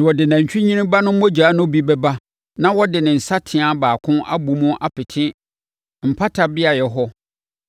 Na ɔde nantwinini ba no mogya no bi bɛba na ɔde ne nsateaa baako abɔ mu apete mpata beaeɛ hɔ